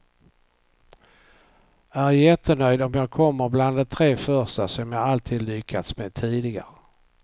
Är jättenöjd om jag kommer bland de tre första som jag alltid lyckats med tidigare.